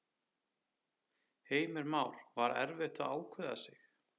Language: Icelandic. Heimir Már: Var erfitt að ákveða sig?